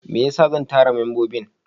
Me yasa zan tara membobin?